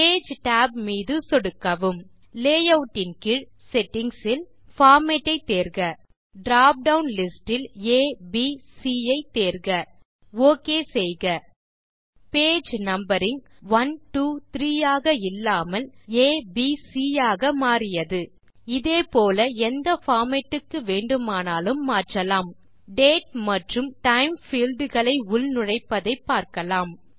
page tab மீது சொடுக்கவும் layout கீழ் செட்டிங்ஸ் இல் பார்மேட் ஐ தேர்க drop டவுன் லிஸ்ட் இல் abசி ஐ தேர்க ஒக் செய்க பேஜ் நம்பரிங் 1 2 3 ஆக இல்லாமல் ஆ ப் சி ஆக மாறியது இதே போல எந்த பார்மேட் க்கு வேண்டுமானாலும் மாற்றலாம் டேட் மற்றும் டைம் பீல்ட் களை உள் நுழைப்பதை பார்க்கலாம்